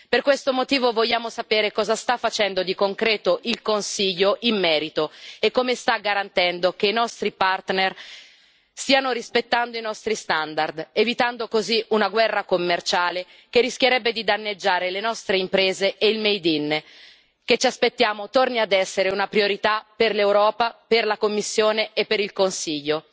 Per questo motivo vogliamo sapere cosa sta facendo di concreto il Consiglio in merito, e come sta garantendo che i nostri partner stiano rispettando i nostri standard, evitando così una guerra commerciale che rischierebbe di danneggiare le nostre imprese e il made in, che ci aspettiamo torni ad essere una priorità per l'Europa, per la Commissione e per il Consiglio.